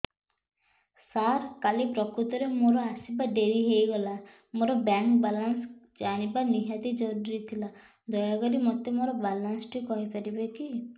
ସାର କାଲି ପ୍ରକୃତରେ ମୋର ଆସିବା ଡେରି ହେଇଗଲା ମୋର ବ୍ୟାଙ୍କ ବାଲାନ୍ସ ଜାଣିବା ନିହାତି ଜରୁରୀ ଥିଲା ଦୟାକରି ମୋତେ ମୋର ବାଲାନ୍ସ ଟି କହିପାରିବେକି